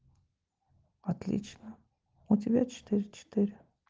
отлично у тебя четыре четыре